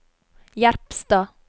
Jerpstad